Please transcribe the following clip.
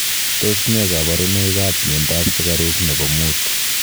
Tos nee koborunoikab miondab sukarub nebo muut?